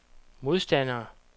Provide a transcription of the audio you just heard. modstandere